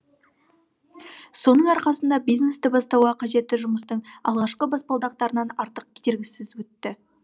соның арқасында бизнесті бастауға қажетті жұмыстың алғашқы баспалдақтарынан артық кедергісіз өтті